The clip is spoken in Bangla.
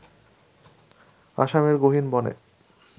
আসামের গহিন বনে